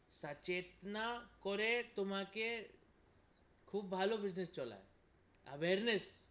সচেতনা করে তোমাকে খুব ভালো business চলায় awareness